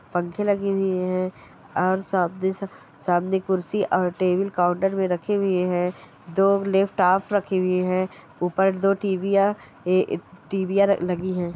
पंखे लगी हुई है और सामने स-सामने कुर्सी और टेबल काउंटर पे रखी हुई है दो लॅपटॉप रखी हुई है ऊपर दो टीवी यां ए-टीवी यां लगी है।